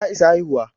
Ta isa haihuwa